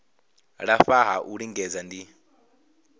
lafha ha u lingedza ndi